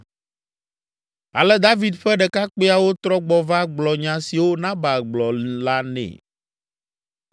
Ale David ƒe ɖekakpuiawo trɔ gbɔ va gblɔ nya siwo Nabal gblɔ la nɛ.